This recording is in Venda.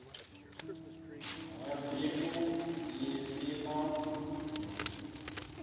ha bindu ḽi si ḽa